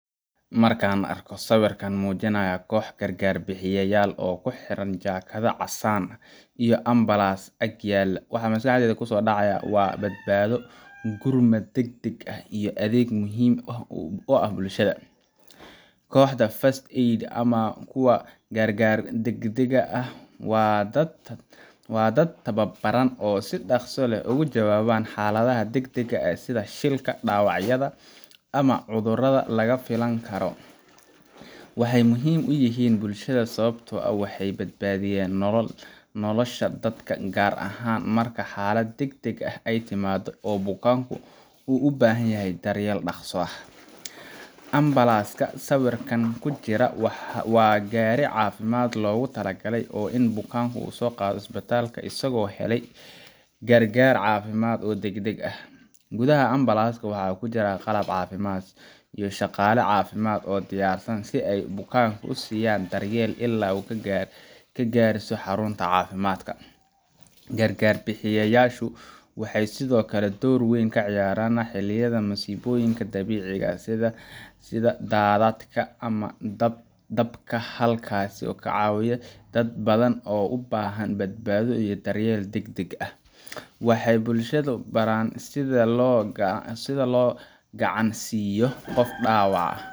Markan arko sawirkan muujinaya kox gargar bixiyayal oo xiran jakada caasan ah ama ambalans ag yaala waxaa maskaxdeyda kusodhaca badbaado iyo gurmad degdeg ah iyo adeeg muhiim u ah bulshada, koxda ]first aid ama kuwa gargar degdega ah wa dad tababaran oo si dhaqsi leh oga jawaban xaladaha degdega ah sida shilka dabacyada ana cudurada laga filan karo, waxay muhiim uyihiin bulshada sababto ah waxay badbaadiyan nolol, nolosha dadka gaar ahan marka xalad degdeg ah ay timaado oo bukanku uu ubahan yahay daryel dhaqsi ah, ambalaska sawirkan kujira waa gaari caafimad logu talagale oo inu bukanku uu uso qaado isbitalka asago helay gargar caafimad oo degdeg ah gudaha ambalaska waxaa kujiraa qalab caafimad iyo shaqale caafimad oo diyarsan si ay bukanku usiiyan ila ay kagaareyso xarunta caafimaadka, gargar bixiyayashu waxa sidokale door weyn kaciyaaran xiliyada masiiboyinka dabiiciga ah sida dadadka ama dabka, halkas oo kacaawiyo dad badan oo u bahan badbaado iyo daryel degdeg ah, waxay bulshada baaran sida loo gacan siyo qof dhaabac ah